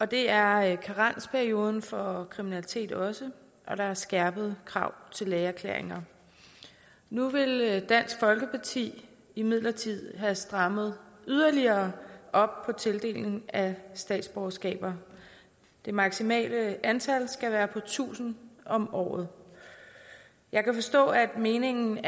det er karensperioden for kriminalitet også og der er skærpede krav til lægeerklæringer nu vil dansk folkeparti imidlertid have strammet yderligere op på tildeling af statsborgerskaber det maksimale antal skal være på tusind om året jeg kan forstå at meningen